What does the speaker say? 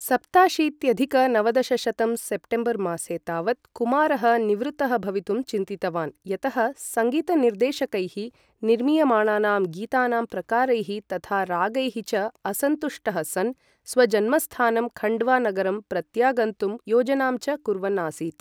सप्ताशीत्यधिक नवदशशतं सेप्टेम्बर् मासे तावत् कुमारः निवृत्तः भवितुं चिन्तितवान् यतः सङ्गीतनिर्देशकैः निर्मीयमाणानां गीतानां प्रकारैः तथा रागैः च असन्तुष्टः सन्, स्वजन्मस्थानं खण्डवा नगरं प्रत्यागन्तुं योजनां च कुर्वन् आसीत्।